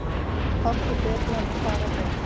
Fátt er betra en fara vel.